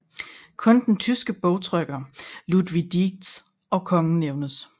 Kun den tyske bogtrykker Ludwig Dietz og kongen nævnes